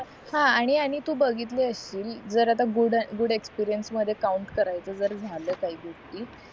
हां आणि आणि तू बघितला अशील जर आता गुड एक्सपीरिअन्स मध्ये काउन्ट करायचं जर झाल पाहिजे कि